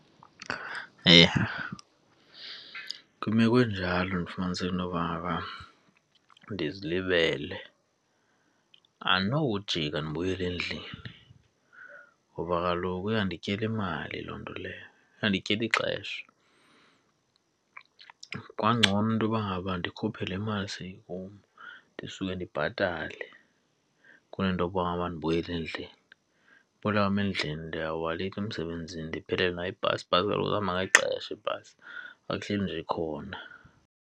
Eyi! Kwimeko enjalo ndifumaniseke intoba ngaba ndizilibele andinokujika ndibuyele endlini ngoba kaloku iyandityela imali loo nto leyo, iyandityela ixesha. Kungangcono intoba ngaba ndikhuphe le mali seyi kum ndisuke ndibhatale kunento yoba mandibuyele endlini. Ubuyela kwam endlini ndiyawuba leyithi emsebenzini ndiphelelwe nayi bhasi. Ibhasi kaloku ihamba ngexesha ibhasi, akuhleli nje ikhona.